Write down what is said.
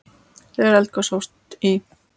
Þegar eldgos hófust í